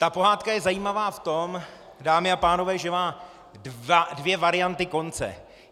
Ta pohádka je zajímavá v tom, dámy a pánové, že má dvě varianty konce.